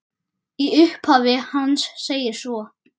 Í upphafi hans segir svo